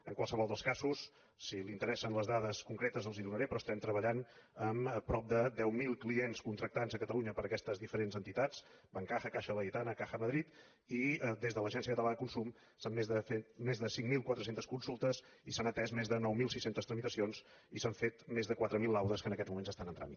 en qualsevol dels casos si l’interessen les dades concretes les hi donaré però estem treballant amb prop de deu mil clients contractants a catalunya per aquestes diferents entitats bancaja caixa laietana caja madrid i des de l’agència catalana de consum s’han fet més de cinc mil quatre cents consultes i s’han atès més de nou mil sis cents tramitacions i s’han fet més de quatre mil laudes que en aquests moments estan en tràmit